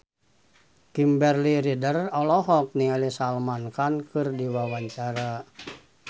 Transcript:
Kimberly Ryder olohok ningali Salman Khan keur diwawancara